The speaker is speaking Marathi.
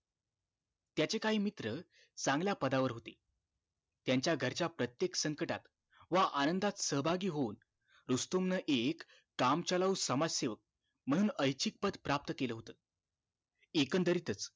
त्याचे काही मित्र चांगल्या पदा वर होते त्यांच्या घरच्या प्रत्येक संकटात व आनंदात सहभागी होऊन रुस्तुम न एक काम चालवू समाज सेवक म्हणून ऐच्छिक पद प्राप्त केलं होत एकंदरीतच